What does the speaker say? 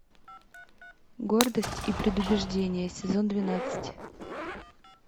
гордость и предубеждение сезон двенадцать